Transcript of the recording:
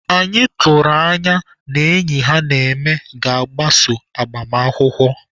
Anyị tụrụ anya n'enyi ha na-eme ga-agbaso agbamakwụkwọ.